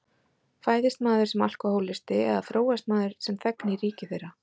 Fæðist maður sem alkohólisti eða þróast maður sem þegn í ríki þeirra?